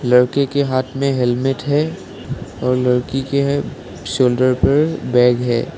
लड़के के हाथ में हेलमेट है और लड़की के शोल्डर पे बैग है।